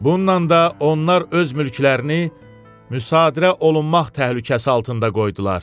Bununla da onlar öz mülklərini müsadirə olunmaq təhlükəsi altında qoydular.